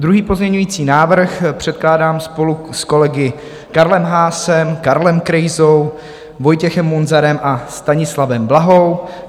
Druhý pozměňovací návrh předkládám spolu s kolegy Karlem Haasem, Karlem Krejzou, Vojtěchem Munzarem a Stanislavem Blahou.